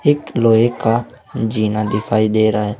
एक लोहे का जीना दिखाई दे रहा है।